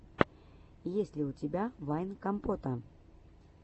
есть ли у тебя вайн компота